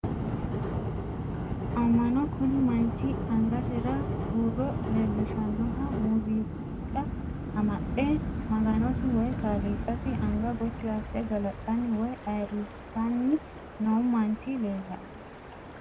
Amma'no kuni manchi angasira huuro leellishannoha muuziiqa amaxxe maganosi woyi kaaliiqasi anga gotti asse galaxxanni woyi ayirrisanni noo manchi leellanno